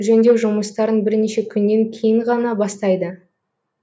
жөндеу жұмыстарын бірнеше күннен кейін ғана бастайды